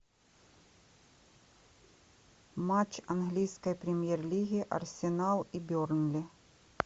матч английской премьер лиги арсенал и бернли